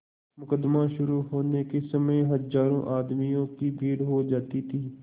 मुकदमा शुरु होने के समय हजारों आदमियों की भीड़ हो जाती थी